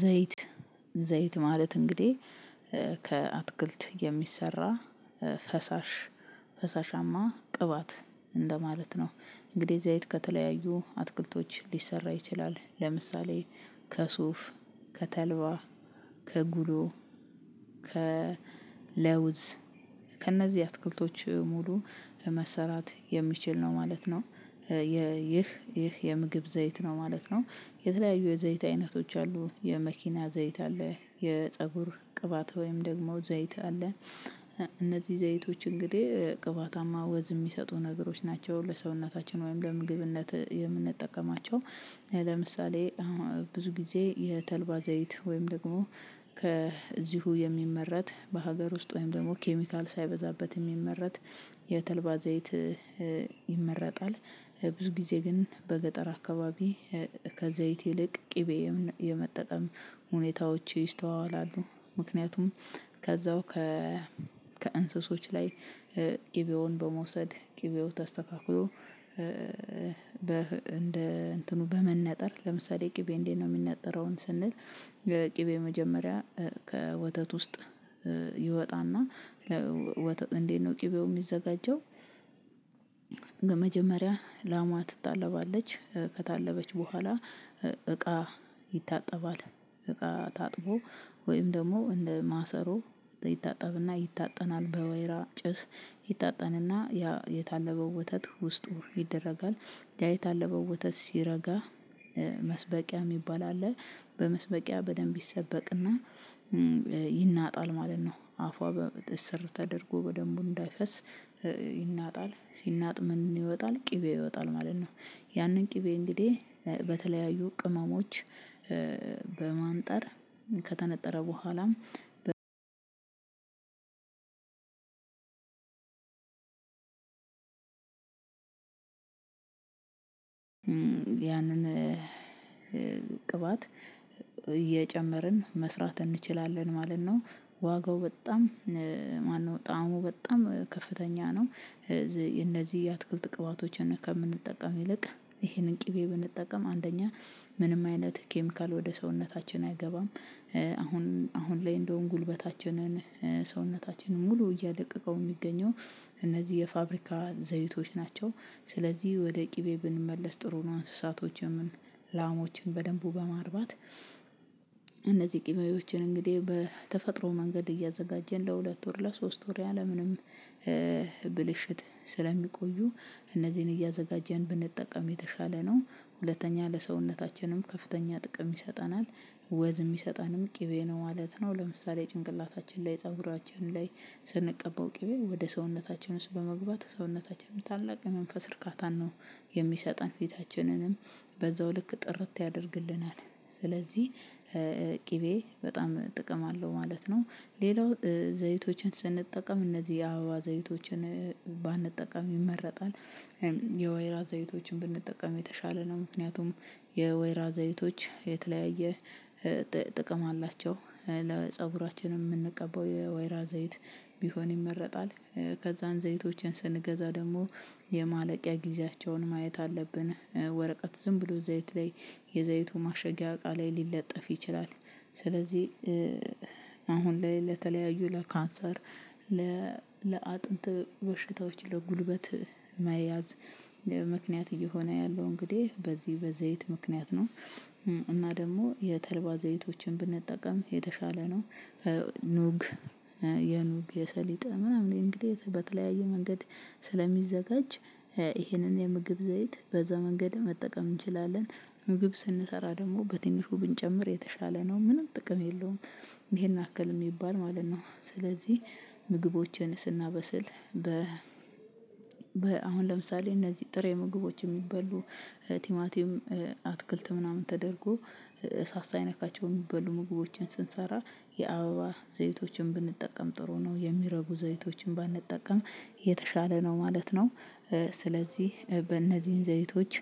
ዘይት ዘይት ማለት እንግዲህ ከአትክልት የሚሰራ ፈሳሽ ፈሳሻማ ቅባት እንደማለት ነው። እንግዲህ ዘይት ከተለያዩ አትክልቶች ሊሰራ ይችላል። ለምሳሌ ከሱፍ፣ ከተልባ፣ ከጉሎ ከለውዝ ከእነዚህ አትክልቶች ሙሉ መሰራት የሚችል ነው ማለት ነው። ይህ ይህ የምግብ ዘይት ነው ማለት ነው። የተለያዩ የዘይት አይነቶች አሉ። የመኪና ዘይት አለ። የፀጉር ቅባት ወይም ደግሞ ዘይት አለ። እነዚህ ዘይቶች እንግዲህ ቅባታማ ወዝ የሚሰጡ ነገሮች ናቸው። ለሰውነታችን ወይም ለምግብነት የምንጠቀማቸው ለምሳሌ ብዙ ጊዜ የተልባ ዘይት ወይም ደግሞ ከዚሁ የሚመረት በሀገር ውስጥ ወይም ደግሞ ኬሚካል ሳይበዛበት የሚመረት የተልባ ዘይት ይመረጣል። ብዙ ጊዜ ግን በገጠር አካባቢ ከዘይት ይልቅ ቅቤ የመጠቀም ሁኔታዎች ይስተዋዋላሉ። ምክንያቱም ከዛው ከእንስሶች ላይ ቅቤውን በመውሰድ ቅቤው ተስተካክሎ በ እንደ እንትኑ በመነጠር ለምሳሌ ቅቤ እንዴት ነው የሚነጠረውን ስንል ቅቤ መጀመሪያ ከወተት ውስጥ ይወጣና እንዴት ነው ቅቤው የሚዘጋጀው መጀመሪያ ላሟ ትታለባለች፤ ከታለበች በኋላ እቃ ይታጠባል። እቃ ታጥቦ ወይም ደግሞ እንደ ማሰሮ ይታጠብና ይታጠናል። በወይራ ጭስ ይታጠንና ያ የታለበው ወተት ውስጡ ይደረጋል። ያ አለ በወተት ሲረጋ መስበቂያ የሚባል አለ፤ በመስበቂያ በደንብ ይሰበቅና ይናጣል ማለት ነው። አፏ በሰር ተደርጎ በደንቡ እንዳይፈስ ይናጣል። ሲናጥምን ይወጣል ቅቤ ይወጣል ማለት ነው። ያንን ቅቤ እንግዲህ በተለያዩ ቅመሞች በማንጠር ከተነጠረ በኋላም ም ያንን ቅባት እየጨመርን መስራት እንችላለን ማለት ነው። ዋጋው በጣም ማነው ጣዕሙ በጣም ከፍተኛ ነው። እነዚህ የአትክልት ቅባቶችን ከምንጠቀም ይልቅ ይሄንን ቅቤ ብንጠቀም አንደኛ ምንም አይነት ኬሚካል ወደ ሰውነታችን አይገባም። አሁን አሁን ላይ እንደውም ጉልበታችንን ሰውነታችንን ሙሉ እያደቀቀው የሚገኘው እነዚህ የፋብሪካ ዘይቶች ናቸው። ስለዚህ ወደ ቅቤ ብንመለስ ጥሩ ነው። እንስሳቶችን ላሞችን በደንቡ በማርባት እነዚህ ቅቤዎችን እንግዲህ በተፈጥሮ መንገድ እያዘጋጀን ለሁለት ወር ለሶስት ወር ያለምንም ብልሽት ስለሚቆዩ እነዚህን እያዘጋጀን ብንጠቀም የተሻለ ነው። ሁለተኛ ለሰውነታችንም ከፍተኛ ጥቅም ይሰጠናል። ወዝ የሚሰጠንም ቅቤ ነው ማለት ነው። ለምሳሌ ጭንቅላታችን ላይ ፀጉራችን ላይ ስንቀባው ቅቤ ወደ ሰውነታቸው ውስጥ በመግባት ሰውነታቸውን ታላቅ የመንፈስ እርካታን ነው የሚሰጠን። ፊታችንንም በዛው ልክ ጥርት ያደርግልናል። ስለዚህ ቅቤ በጣም ጥቅም አለው ማለት ነው። ሌላው ዘይቶችን ስንጠቀም እነዚህ አበባ ዘይቶችን ባንጠቀም ይመረጣል። የወይራ ዘይቶችን ብንጠቀም የተሻለ ነው። ምክንያቱም የወይራ ዘይቶች የተለያየ ጥቅም አላቸው። ለፀጉራችን የምንቀበው የወይራ ዘይት ቢሆን ይመረጣል። ከዛን ዘይቶችን ስንገዛ ደግሞ የማለቂያ ጊዜያቸውን ማየት አለብን። ወረቀት ዝም ብሎ ዘይት ላይ የዘይቱ ማሸጊያ ቃ ላይ ሊለጠፍ ይችላል። ስለዚህ አሁን ላይ ለተለያዩ ለካንሰር ለአጥንት በሽታዎች ለጉልበት መያዝ ምክንያት እየሆነ ያለው እንግዲህ በዚህ በዘይት ምክንያት ነው። እና ደግሞ የተልባ ዘይቶችን ብንጠቀም የተሻለ ነው። ኑግ የኑግ የሰሊጥ ምናምን እንግዲህ በተለያየ መንገድ ስለሚዘጋጅ ይሄንን የምግብ ዘይት በዛ መንገድ መጠቀም እንችላለን። ምግብ ስንሰራ ደግሞ በትንሹ ብንጨምር የተሻለ ነው። ምንም ጥቅም የለውም። ይሄን አክል የሚባል ማለት ነው። ስለዚህ ምግቦችን ስናበስል በ አሁን ለምሳሌ እነዚህ ጥሬ ምግቦች የሚበሉ ቲማቲም አትክልት ምናምን ተደርጎ እሳት ሳይነካቸው የሚበሉ ምግቦችን ስንሰራ የአበባ ዘይቶችን ብንጠቀም ጥሩ ነው። የሚረጉ ዘይቶችን ባንጠቀም የተሻለ ነው ማለት ነው። ስለዚህ በእነዚህን ዘይቶች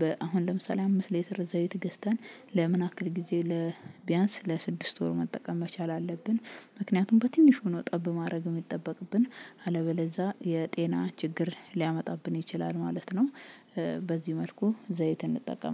በአሁን ለምሳሌ አምስት ሌትር ዘይት ገዝተን ለምን አክል ጊዜ ለቢያንስ ለስድስት ወር መጠቀም መቻል አለብን። ምክንያቱም በትንሽ ነው ጠብ ማድረግ የሚጠበቅብን። አለበለዛ የጤና ችግር ሊያመጣብን ይችላል ማለት ነው። በዚህ መልኩ ዘይት እንጠቀማለን።